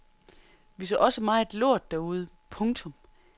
Vi så også meget lort derude. punktum